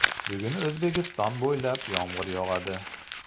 Bugun O‘zbekiston bo‘ylab yomg‘ir yog‘adi.